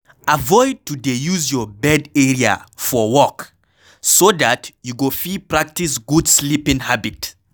Avoid to dey use your bed area for work so dat you go fit practice good sleeping habit